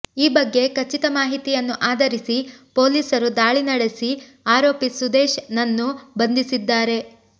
ಈ ಬಗ್ಗೆ ಖಚಿತ ಮಾಹಿತಿಯನ್ನು ಆಧರಿಸಿ ಪೊಲೀಸರು ದಾಳಿ ನಡೆಸಿ ಆರೋಪಿ ಸುದೇಶ್ ನನ್ನು ಬಂಧಿಸಿದ್ದಾರೆ